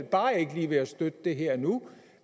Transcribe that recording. bare ikke lige ved at støtte det her og nu